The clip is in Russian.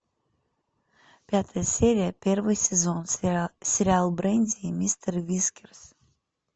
пятая серия первый сезон сериал бренди и мистер вискерс